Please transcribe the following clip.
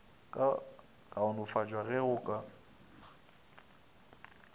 ka kaonafatšwa ge go ka